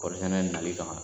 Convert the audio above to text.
Kɔɔri sɛnɛ nali kama